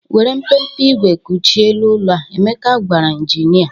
"Were mpempe igwe kụchie elu ụlọ a," Emeka gwara injinịa.